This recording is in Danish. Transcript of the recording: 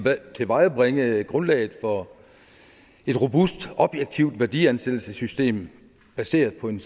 tilvejebringe grundlaget for et robust objektivt værdiansættelsessystem baseret på en